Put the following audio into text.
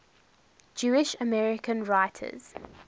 jewish american writers